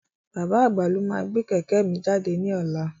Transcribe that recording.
Bàbá àgbà lo máa gbé kẹ̀kẹ́ mi jáde ní ọlá.